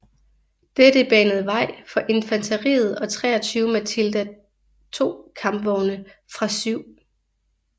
Dette banede vej for infanteriet og 23 Matilda II kampvogne fra 7